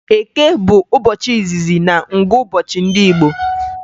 Eke bụ ụbọchị izizi na ngụụbọchị ndị Igbo